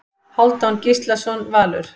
Hálfdán Gíslason Valur